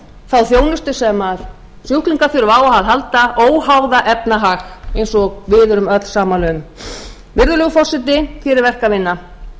þá þjónustu sem sjúklingar þurfa á að halda óháð efnahag eins og við erum öll sammála um virðulegur forseti hér er verk að vinna verkefnið